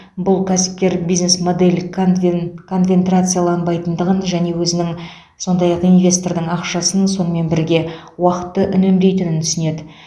бұл кәсіпкер бизнес модель конвен конвентрацияланбайтындығын және өзінің сондай ақ инвестордың ақшасын сонымен бірге уақытты үнемдейтінін түсінеді